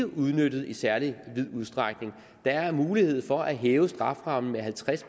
udnyttet i særlig vid udstrækning der er mulighed for at hæve strafferammen med halvtreds